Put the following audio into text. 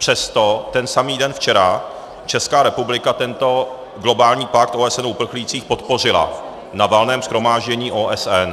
Přesto ten samý den, včera, Česká republika tento globální pakt OSN o uprchlících podpořila na Valném shromáždění OSN.